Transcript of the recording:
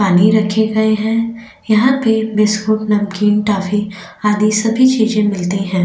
पानी रखे गए है यहाँ पे बिस्कूट नमकीन टॉफी आधी सभी चीजे मिलती है।